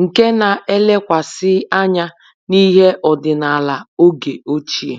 nke na-elekwasị anya n'ihe ọdịnala oge ochie